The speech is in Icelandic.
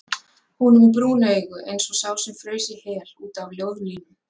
Hún er með brún augu eins og sá sem fraus í hel út af ljóðlínum.